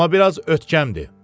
Amma biraz ötkəmdir.